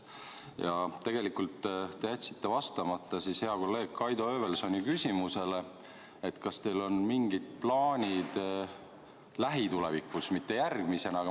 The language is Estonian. Aga tegelikult te jätsite vastamata hea kolleegi Kaido Höövelsoni küsimusele, kas teil on mingid plaanid lähitulevikus midagi veel ette võtta.